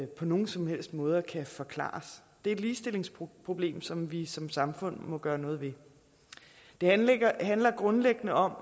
på nogen som helst måde kan forklares det er et ligestillingsproblem som vi som samfund må gøre noget ved det handler grundlæggende om